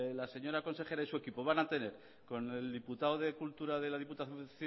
la señora consejera y su equipo van a tener con el diputado de cultura de la diputación